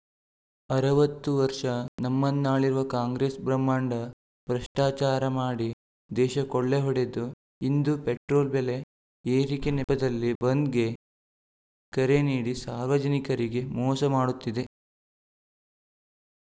ಅರವತ್ತು ವರ್ಷ ನಮ್ಮನ್ನಾಳಿರುವ ಕಾಂಗ್ರೆಸ್‌ ಭ್ರಹ್ಮಾಂಡ ಭ್ರಷ್ಟಾಚಾರ ಮಾಡಿ ದೇಶ ಕೊಳ್ಳೆಹೊಡೆದು ಇಂದು ಪೆಟ್ರೋಲ್‌ ಬೆಲೆ ಏರಿಕೆ ನೆಪದಲ್ಲಿ ಬಂದ್‌ಗೆ ಕರೆ ನೀಡಿ ಸಾರ್ವಜನಿಕರಿಗೆ ಮೋಸ ಮಾಡುತ್ತಿದೆ